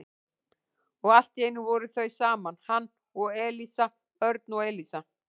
Og allt í einu voru þau saman, hann og Elísa, Örn og Elísa.